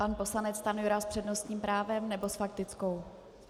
Pan poslanec Stanjura s přednostním právem, nebo s faktickou?